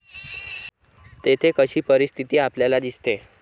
तेथे कशी परिस्थिती आपल्याला दिसते?